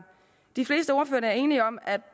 og er enige om at